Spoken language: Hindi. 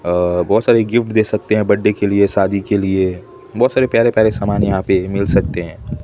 अ बहोत सारे गिफ्ट देख सकते हैं बड्डे के लिए शादी के लिए बहोत सारे प्यारे प्यारे समान यहां पे मिल सकते हैं।